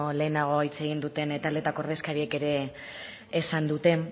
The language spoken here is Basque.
lehenago hitz egin duten taldeetako ordezkariek ere esan dute